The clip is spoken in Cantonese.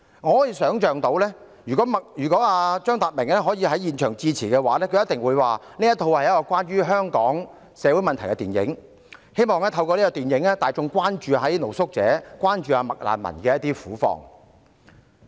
我可以想象，如果張達明能在現場致辭，他一定會說，這是一齣關於香港社會問題的電影，希望透過這齣電影，大眾可以關注露宿者、"麥難民"的苦況。